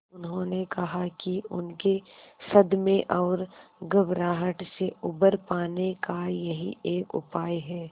उन्होंने कहा कि उनके सदमे और घबराहट से उबर पाने का यही एक उपाय है